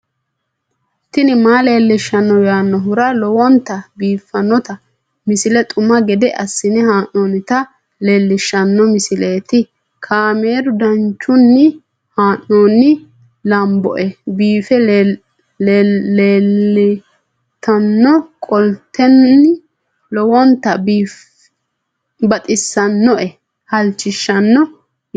tini maa leelishshanno yaannohura lowonta biiffanota misile xuma gede assine haa'noonnita leellishshanno misileeti kaameru danchunni haa'noonni lamboe biiffe leeeltannoqolten lowonta baxissannoe halchishshanno yaate